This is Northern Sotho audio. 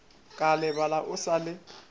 ka lebala o sa le